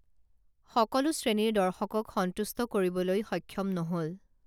সকলো শ্ৰেণীৰ দৰ্শকক সন্তুষ্ট কৰিবলৈ সক্ষম নহল